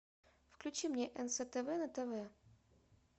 включи мне нств на тв